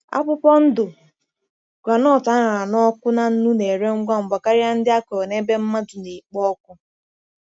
Akwụkwọ ndụ groundnut a ṅara n’ọkụ na nnu na-ere ngwa ngwa karịa nke akọrọ n’ebe mmadụ na-ekpo ọkụ.